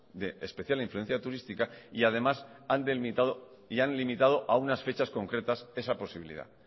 de especial influencia turística y además han delimitado y han limitado a unas fechas concretas esa posibilidad